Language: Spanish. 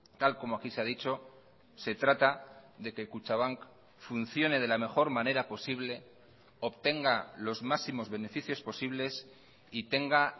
tal como aquí se ha dicho se trata de que kutxabank funcione de la mejor manera posible obtenga los máximos beneficios posibles y tenga